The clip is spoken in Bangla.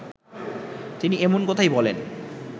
তিনি এমন কথাই বলেন